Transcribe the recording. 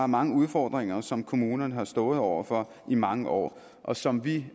mange udfordringer som kommunerne har stået over for i mange år og som vi